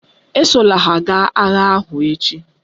Esola ha gaa agha ahụ echi!